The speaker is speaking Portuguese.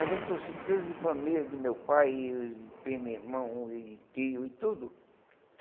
Aí juntou-se treze famílias de meu pai, de primo, irmão e tio e tudo.